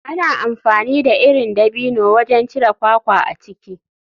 Ana amfani da irin dabino wajen cire kwakwa a ciki.